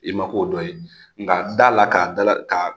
I ma k'o dɔ ye nka da la k'a dala ka